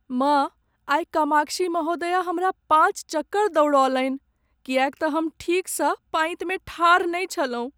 माँ, आइ कामाक्षी महोदया हमरा पाँच चक्कर दौड़ौलनि किएक तँ हम ठीकसँ पाँतिमे ठाढ़ नहि छलहुँ।